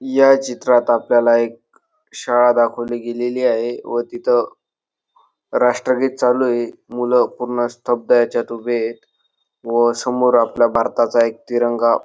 या चित्रात आपल्याला एक शाळा दाखवली गेलेली आहे व तिथं राष्ट्रगीत चालू ये मुलं पूर्ण स्तब्ध याच्यात उभे येत व समोर आपल्या भारताचा एक तिरंगा --